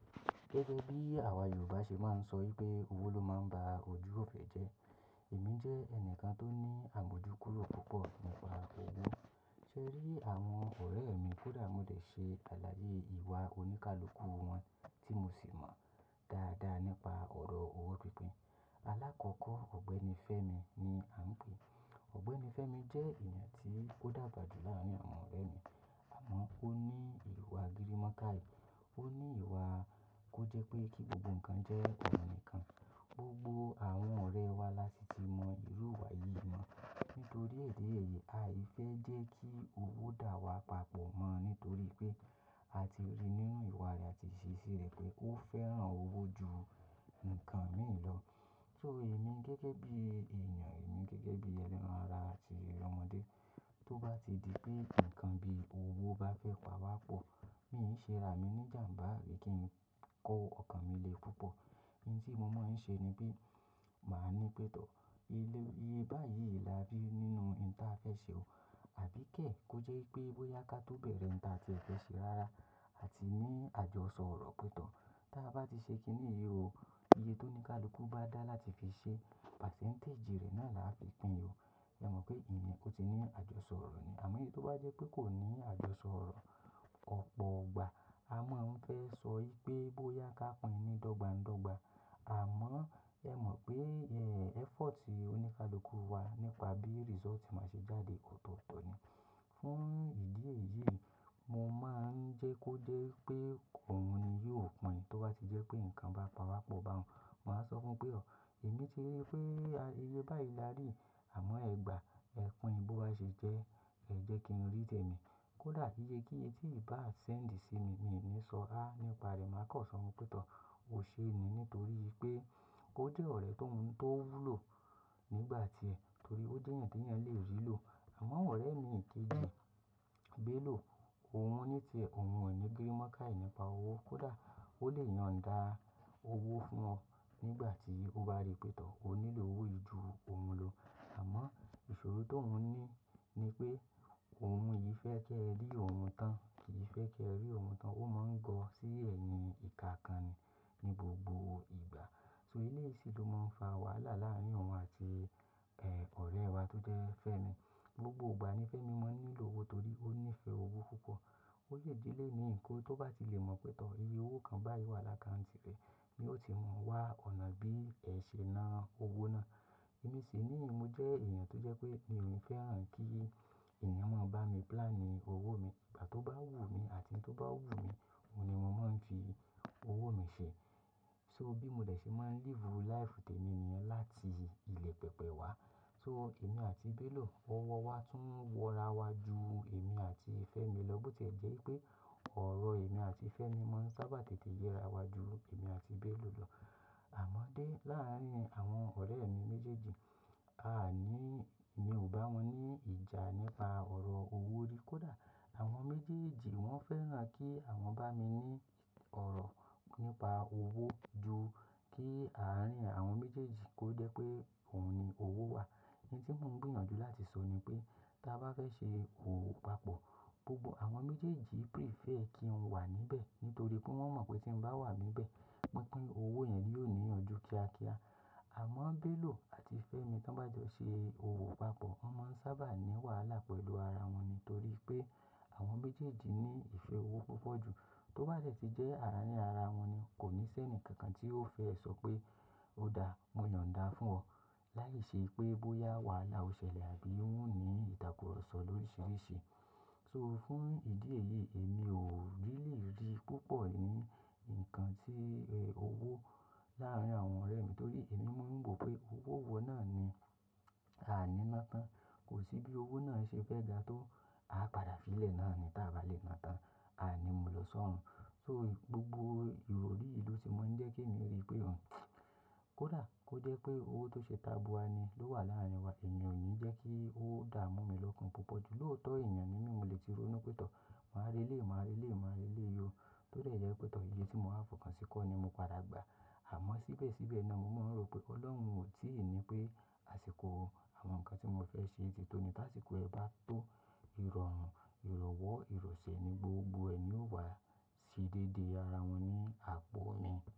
Gẹ́gẹ́ bí àwa Yorùbá ṣe máa ń sọ wipé owó ló máa ń ba ojú ifẹ́ jẹ́. Èmi jẹ́ ẹnìkan tó ní àmójúkúrò púpọ̀ nípa owó. Ṣe e rí àwọn ọ̀rẹ́ mi kódà mo dẹ̀ ṣe aláyé ìwà oníkálukú wọn tí mo sì mọ dáadáa nípa ọ̀rọ̀ owó pípín. Alákọ̀kọ́, ọ̀gbẹ́ni Fẹ́mi ni à ń pè é. Ọ̀gbẹ́ni Fẹ́mi jẹ́ èeyàn tí ó dàgbà jù láàárín àwọn ọ̀rẹ́ mi, àmọ́ ó ní ìwà agírímókáyì. Ó ní ìwà kó jẹ́ pé kí gbogbo nǹkan jẹ́ ọ̀un kan. Gbogbó àwọn ọ̀rẹ́ wa lá si ti mọ ìrú ìwà yìí mọ̀. Nítorí idi eyìí, a i fẹ́ jẹ́ kí owó dà wá papọ̀ mọ́ nítorí pé a ti rí nínú ìwà rẹ̀, a ti iṣeṣi rẹ̀ pé ó fẹ́ràn owó ju ǹkan mìí lọ. Ṣo emi gẹ́gẹ́ bí ènìyàn, èmi gẹ́gẹ́ bí ẹlẹ́ran ara àti ọmọdé, tó bá ti di pé ǹkan bí owó bá fẹ́ pa wá pọ̀, mi í ṣe ra mi ní ìjàmbá abi kí n kọ́ ọkàn mi lé púpọ̀. Hin tí mo máa ń ṣe ni pé màá ní pétò. Iye báyìí lá rí nínú ǹta a fẹ́ ṣe o. Àbí kẹ̀ kó jẹ́ wipé bóyá ká tó bẹ̀rẹ̀ ǹta tí e fẹ́ ṣe rárá, a ti ní àjọsọ̀rọ̀ pẹ̀tọ̀. Ta bá ti ṣe kí ní yi o, iye tó ní ká luku bá dá láti fi ṣe, pasẹ́ǹtẹ̀ẹ̀jì rẹ̀ náà lá fi pín o. Ẹ̀ mọ̀ pé iyen o ti ní àjọsọ̀rọ̀ ni. Àmọ́, í tó bá jẹ́ pé kò ní àjọsọ̀rọ̀, ọ̀pọ̀ igbà a máa ń fẹ́ sọ í pé bóyá ká pín ni dọ́gbańdọ́gba. Àmọ́, ẹ́ mọ̀ pé, eh, effort oníkálukú wa nípa bí result máa ṣe jáde otooto ni. Fún ìdí èyí, mo máa ń jẹ́ kó jẹ́ wipé òun ni yóò pín in. Tó bá ti jẹ́ pé ǹkan bá pa wá pọ̀ bá un, màá sọ fún un pé, "Ọ̀, èmi ti rí pé iye báyìí lárí, àmọ́ ẹ gbà ẹ́ pín bó bá ṣe jẹ́, ẹ jẹ́ kí n rí tẹ̀mí." Kódà iyé kí ye ti i bá send sí mi, mi ò ní sọ "A" nípa rẹ̀ má kọ̀ sọ fun pẹ̀tọ̀. Ó ṣe ni nítorí pé ó jẹ́ ọ̀rẹ́ tó ń wúlò nígbà tí ẹ, torí ó jẹ́ yàn tí ẹ̀yàn lè rí lò. Àmọ ọ̀rẹ́ mi kejì, Bẹ́lò, òun ní ti ẹ, òun ò ní gírímókáyì nípa owó. Kódà ó lè yàn dá owó fún ọ nígbà tí ó bá rí pẹ̀tọ̀. Ó nílò owó yìí ju òun lọ. Àmọ́ ìṣòro tó uń ní ni pé òun yìí fẹ́ kẹ rí òun tán, kì í fẹ́ kẹ rí òun tán. Ó máa ń gọ̀ sí ẹ̀yin ìka kan ni ní gbogbo ìgbà. So eleyìí sì ló máa ń fa wàhálà láàárín òun àti, eh, ọ̀rẹ́ wa tó jẹ́ Fẹ́mi. Gbogbo ìgbà ni Fẹ́mi máa ń nílò owó torí ó nífẹ̀ẹ́ owó púpọ̀. Ó yè dí ilé ní ǹkan tó bá ti lè mọ̀ pé tọ́ iye owó kan báyìí wà lákàǹtì rẹ̀, mi ò tíì mọ̀ wá ọ̀nà bí ẹ ṣe ná owó náà. Èmi sì ni mo jẹ́ ènìyàn tó jẹ́ pé mi ò ní fẹ́ràn kí ènìyàn máa ń bá mi plan owó mi. Ìgbà tó bá wù mí àti tí ó bá wù mí, òun ni mo máa ń fi owó mi ṣe. So bí mo dẹ̀ ṣe máa ń live life tẹ́nìnì ọ́n láti ilẹ̀ pẹpẹ wa. So èmi àti Bẹ́lò, owó wa tún wọra wá ju èmi àti Fẹ́mi lọ, bó ti jẹ́ pé ọ̀rọ̀ èmi àti Fẹ́mi máa ń sábà tètè yẹra wá ju èmi àti Bẹ́lò lọ. Àmọ́dé láàárín àwọn ọ̀rẹ́ mi méjèèjì, a à ní, mi ò bá wọn ní ìjà nípa ọ̀rọ̀ owó rí. Kódà àwọn méjèèjì wọn fẹ́ràn kí àwọn bá mi ní ọ̀rọ̀ nípa owó ju kí àárín àwọn méjèèjì kó jẹ́ pé òun ni owó wa. Ìn tí mò ń bìyànjú láti sọ ni pé, tí a bá fẹ́ ṣe òwò papọ̀, gbogbo àwọn méjèèjì prefer kí n wà níbẹ̀ nítorí pé wọ́n mọ̀ pé tí n bá wà níbẹ̀, pínpín owó yẹn yóò ní ìyànjú kíákíá. Àmọ́ Bẹ́lò àti Fẹ́mi tí wọ́n bá jọ ṣe owó papọ̀, wọ́n máa ń sábà ní wàhálà pẹ̀lú ara wọn nítorí pé àwọn méjèèjì ní ìfẹ́ owó púpọ̀ ju. Tó bá jẹ̀ ti jẹ́ ara ní ara wọn ni kò ní sẹ́ni kankan tí ó fẹ́ sọ pé ó dà wọ́n yàn dà fún ọ láì ṣe pé bóyá wàhálà ó ṣẹlẹ̀ àbí ó ń ní ìtàkurọ̀sọ lóríṣiríṣi. So fún ìdí èyí, èmi ò rílí rí púpọ̀ ní ǹkan tí, eh, owó láàárín àwọn ọ̀rẹ́ mi nítorí èmi ma ń wò pé owó owó náà ni a ní ná tán. Kò sí bí owó náà ṣe fẹ́ ga tó a padà fi ilẹ̀ náà ni tí a bá lè ná tán. Aàní mu lọ sọ̀rún. So gbogbo ìròrí yìí ló ti máa ń jẹ́ kí èmi rí pé òun, kódà kó jẹ́ pé owó tó ṣe tabua ni ló wà láàárín wa, èmi ò ní jẹ́ kí ó dà mú mi lọ́kan púpọ̀. Lòótọ́ èèyàn ni mí, mo lè ti ronú pé tọ́, màá rí ilé, màá rí ilé, màá rí ilé o. Tó lè jẹ́ pé tọ́ iye tí mo á fòkàn sí i kọ́ ni mo padà gba. Àmọ́ síbẹ̀síbẹ̀ náà mo máa ń rò pé Ọlọ́run ò tí ì ní pé àsìkò àwọn ǹkan tí mo fẹ́ ṣe tìtún ní, lásìkò ẹ bá tó, ìrọ̀rùn, ìrọ̀wọ́, ìrọ̀sẹ̀ ni gbogbo ẹni yóò wá sí déédé ara wọn ní àpọ̀ mi.